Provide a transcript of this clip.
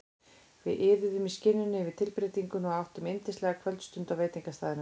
Við iðuðum í skinninu yfir tilbreytingunni og áttum yndislega kvöldstund á veitingastaðnum.